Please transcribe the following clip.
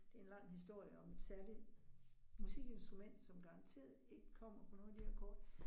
Det en lang historie om et særligt musikinstrument, som garanteret ikke kommer på nogle af de her kort